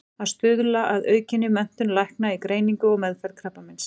Að stuðla að aukinni menntun lækna í greiningu og meðferð krabbameins.